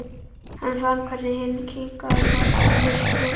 Hann fann hvernig hinn kiknaði undan högginu.